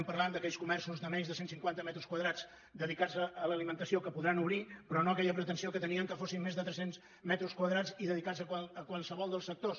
parlem d’aquells comerços de menys de cent cinquanta metres quadrats dedicats a l’alimentació que podran obrir però no aquella pretensió que tenien que fossin més de tres cents metres quadrats i dedicats a qualsevol dels sectors